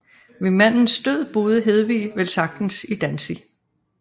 Ved mandens død boede Hedwig velsagtens i Danzig